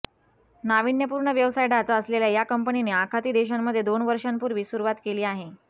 नाविन्यपूर्ण व्यवसाय ढाचा असलेल्या या कंपनीने आखाती देशांमध्ये दोन वर्षांपूर्वी सुरुवात केली आहे